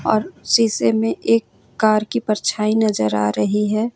और शीशे में एक कार की परछाई नजर आ रही है।